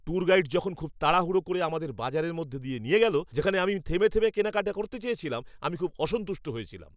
Tour guide যখন খুব তাড়াহুড়ো করে আমাদের বাজারের মধ্য দিয়ে নিয়ে গেল যেখানে আমি থেমে থেমে কেনাকাটা করতে চেয়েছিলাম, আমি খুব অসন্তুষ্ট হয়েছিলাম।